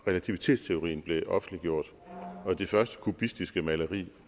relativitetsteorien blev offentliggjort og det første kubistiske maleri